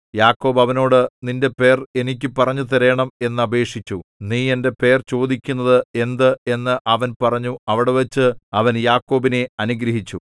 യാക്കോബ് അവനോട് നിന്റെ പേര് എനിക്ക് പറഞ്ഞുതരേണം എന്ന് അപേക്ഷിച്ചു നീ എന്റെ പേർ ചോദിക്കുന്നത് എന്ത് എന്ന് അവൻ പറഞ്ഞു അവിടെവച്ച് അവൻ യാക്കോബിനെ അനുഗ്രഹിച്ചു